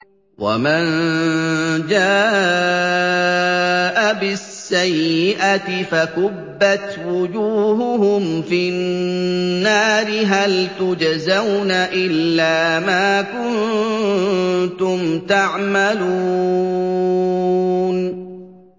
وَمَن جَاءَ بِالسَّيِّئَةِ فَكُبَّتْ وُجُوهُهُمْ فِي النَّارِ هَلْ تُجْزَوْنَ إِلَّا مَا كُنتُمْ تَعْمَلُونَ